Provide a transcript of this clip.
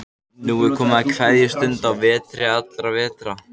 Nú er komið að kveðjustund á vetri allra vetra.